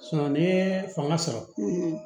ni ye fanga sɔrɔ